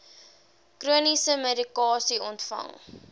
chroniese medikasie ontvang